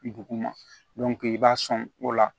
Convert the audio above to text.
Duguma i b'a sɔn o la